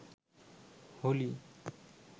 Holi